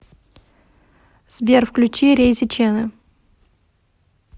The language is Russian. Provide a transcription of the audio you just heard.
сбер включи рейзи чена